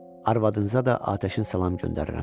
Arvadınıza da atəşin salam göndərirəm.